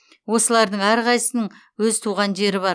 осылардың әрқайсысының өз туған жері бар